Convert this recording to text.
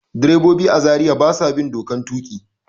Direbobi a Zariya ba sa bin dokan tuƙi.